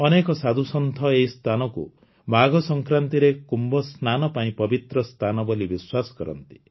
ଅନେକ ସାଧୁସନ୍ଥ ଏହି ସ୍ଥାନକୁ ମାଘସଂକ୍ରାନ୍ତିରେ କୁମ୍ଭସ୍ନାନ ପାଇଁ ପବିତ୍ର ସ୍ଥାନ ବୋଲି ବିଶ୍ୱାସ କରନ୍ତି